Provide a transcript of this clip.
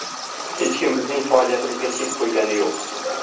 Hech kim bizning faoliyatimizga chek qo‘ygani yo‘q.